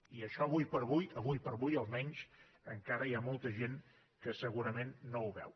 i això ara com ara ara com ara almenys encara hi ha molta gent que segurament no ho veu